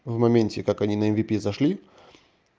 в моменте как они на эмвипи зашли